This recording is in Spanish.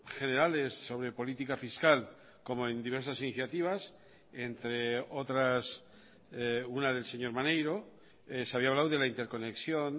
generales sobre política fiscal como en diversas iniciativas entre otras una del señor maneiro se había hablado de la interconexión